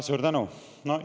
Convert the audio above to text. Suur tänu!